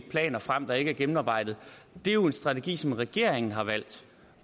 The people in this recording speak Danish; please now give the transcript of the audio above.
planer frem der ikke er gennemarbejdede det er jo en strategi som regeringen har valgt